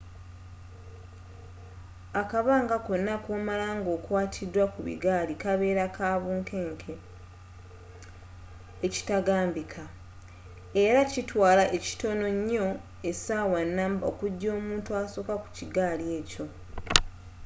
akabanga konna koomala nga okwatiddwa ku bigaali kabeera ka bunkeenke ekitagambika ela kyaatwaala ekitono nyo essawa numba okujja omuntu asokka ku kigaali ekyo